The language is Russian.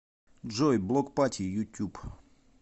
джой блок пати ютуб